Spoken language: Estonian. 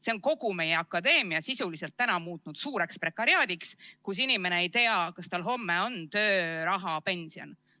See on kogu meie akadeemia muutnud sisuliselt suureks prekariaadiks, kus inimene ei tea, kas tal homme on töö, raha, pension.